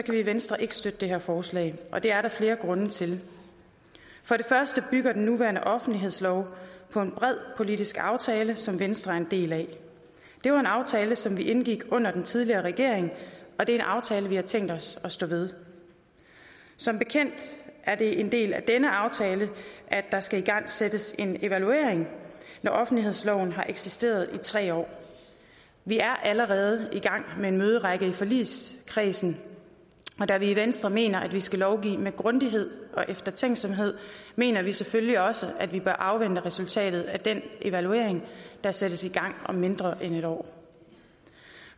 vi i venstre ikke støtte det her forslag og det er der flere grunde til for det første bygger den nuværende offentlighedslov på en bred politisk aftale som venstre er en del af det var en aftale som vi indgik under den tidligere regering og det er en aftale vi har tænkt os at stå ved som bekendt er det en del af denne aftale at der skal igangsættes en evaluering når offentlighedsloven har eksisteret i tre år vi er allerede i gang med en møderække i forligskredsen og da vi i venstre mener at vi skal lovgive med grundighed og eftertænksomhed mener vi selvfølgelig også at vi bør afvente resultatet af den evaluering der sættes i gang om mindre end et år